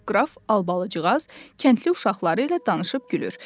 Qraf Albalıcığaz kəndli uşaqları ilə danışıb gülür.